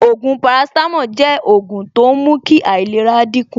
Ògùn paracetamol jẹ́ ògùn tó ń mú kí ìlera dín kù